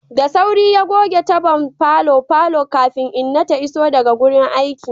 Da sauri ya goge tabon falon falo kafin inna ta iso daga aiki.